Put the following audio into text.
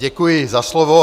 Děkuji za slovo.